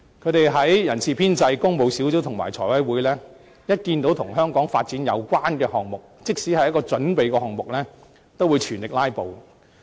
無論在人事編制小組委員會、工務小組委員會或財務委員會，只要看到跟香港發展有關的項目，即使只是準備項目，他們也會全力"拉布"。